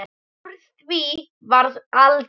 Úr því varð aldrei.